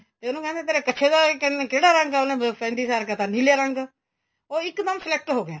ਤੇ ਉਹਨੂੰ ਕਹਿੰਦੇ ਤੇਰੇ ਕੱਛੇ ਦਾ ਕਿਹੜਾ ਰੰਗ ਏ ਤੇ ਉਹਨੇ ਦਸਣ ਦੀ ਸਾਰ ਕਹਿ ਤਾਂ ਨੀਲੇ ਰੰਗ ਉਹ ਇੱਕ ਦਮ select ਹੋ ਗਿਆ